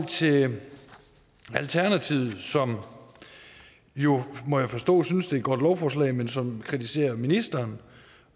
til alternativet som må jeg forstå synes det er et godt lovforslag men som kritiserer ministeren